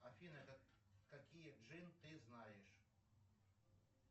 афина какие джин ты знаешь